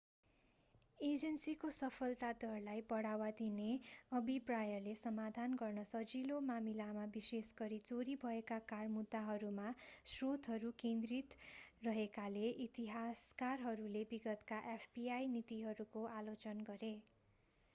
एजेन्सीको सफलता दरलाई बढावा दिने अभिप्रायले समाधान गर्न सजिलो मामिलामा विशेष गरी चोरी भएका कार मुद्दाहरूमा स्रोतहरू केन्द्रित रहेकाले इतिहासकारहरूले विगतका fbi नीतिहरूको आलोचना गरे